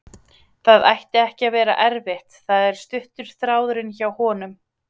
Það ætti ekki að vera erfitt, það er stuttur þráðurinn hjá honum.